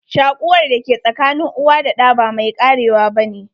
Shakuwar da ke sakanin uwa da ɗa ba mai karewa ba ne.